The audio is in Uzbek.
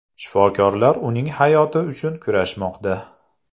Shifokorlar uning hayoti uchun kurashmoqda.